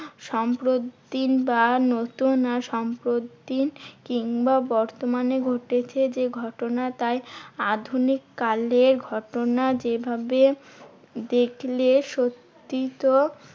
সম্প্রতি বা নতুন সম্প্রতি কিংবা বর্তমানে ঘটেছে যে ঘটনা, তাই আধুনিক কালে ঘটনা যেভাবে দেখলে সত্যি তো